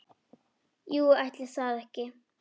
Jú, ætli það ekki!